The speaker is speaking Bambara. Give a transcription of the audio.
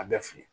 A bɛ f'i ye